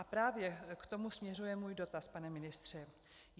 A právě k tomu směřuje můj dotaz, pane ministře.